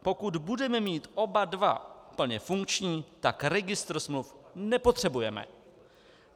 Pokud budeme mít oba dva plně funkční, tak registr smluv nepotřebujeme.